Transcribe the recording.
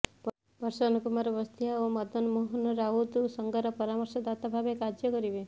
ପ୍ରସନ୍ନ କୁମାର ବସ୍ତିଆ ଓ ମଦନ ମୋହନ ରାଉତ ସଂଘର ପରାମର୍ଶଦାତା ଭାବେ କାର୍ଯ୍ୟ କରିବେ